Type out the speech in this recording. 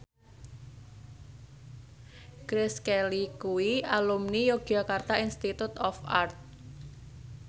Grace Kelly kuwi alumni Yogyakarta Institute of Art